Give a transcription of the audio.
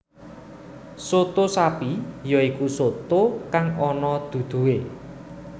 Soto sapi ya iku soto kang ana dudohé